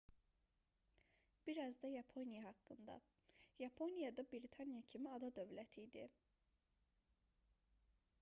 bir az da yaponiya haqqında yaponiya da britaniya kimi ada dövləti idi